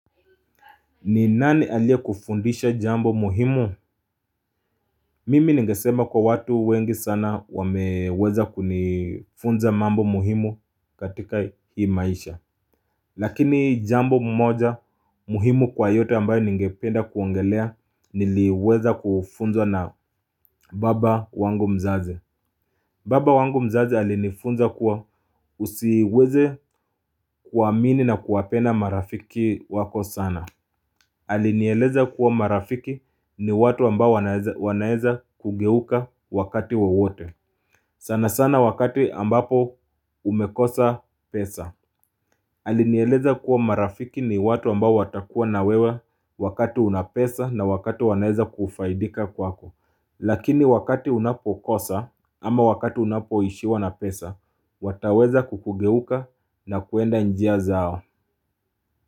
Ni nani aliye kufundisha jambo muhimu? Mimi nigesema kwa watu wengi sana wameweza kunifunza mambo muhimu katika hii maisha Lakini jambo moja muhimu kwa yote ambayo ningependa kuongelea niliweza kufunzwa na baba wangu mzazi. Baba wangu mzazi alinifunza kwa usiweze kuwa amini na kuwapenda marafiki wako sana. Alinieleza kuwa marafiki ni watu ambao wanaeza kugeuka wakati wowote sana sana wakati ambapo umekosa pesa. Alinieleza kuwa marafiki ni watu ambao watakuwa na wewa wakati una pesa na wakati wanaeza kufaidika kwako. Lakini wakati unapokosa ama wakati unapo ishiwa na pesa wataweza kukugeuka na kuenda njia zao.